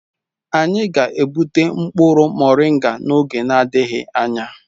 Anyị ga-egbute mkpụrụ moringa n'oge adịghị anya.